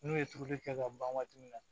N'u ye turuli kɛ ka ban waati min na